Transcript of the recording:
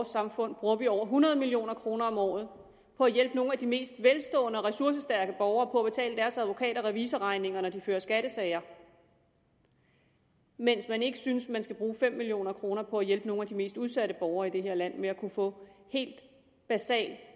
samfund bruger over hundrede million kroner om året på at hjælpe nogle af de mest velstående og ressourcestærke borgere på at betale deres advokat og revisorregninger når de fører skattesager mens man ikke synes at man skal bruge fem million kroner på at hjælpe nogle af de mest udsatte borgere i det her land med at kunne få helt basal